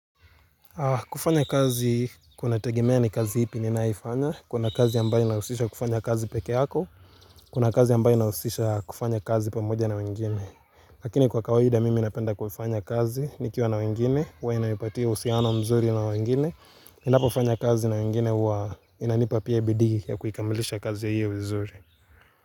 Kufanya kazi kunategemea ni kazi ipi ninayofanya. Kuna kazi ambayo inahusisha kufanya kazi peke yako Kuna kazi ambayo inahusisha kufanya kazi pamoja na wengine Lakini kwa kawaida mimi napenda kufanya kazi nikiwa na wengine huwa inaipatia uhusiano mzuri na wengine ninapofanya kazi na wengine huwa inanipa pia bidii ya kuikamilisha kazi ya hiyo vizuri.